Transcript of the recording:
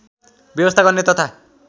व्यवस्था गर्ने तथा